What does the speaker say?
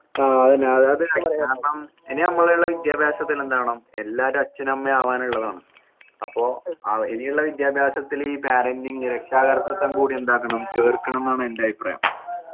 ആഹ് അതെന്നെ അത് കാരണം ഇനി നമ്മളിലുള്ള വിദ്യാഭാസത്തില് എന്താകണം എല്ലാരും അച്ഛനും അമ്മയും ആവാനുള്ളതാണ് അപ്പൊ ഇനിയുള്ള വിദ്യാഭാസത്തില് ഈ പാരന്റിങ് രക്ഷാകര്‍തൃത്വം കൂടി എന്താക്കണം ചേർക്കണംന്നാണ് എന്റെ അഭിപ്രായം.